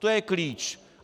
To je klíč!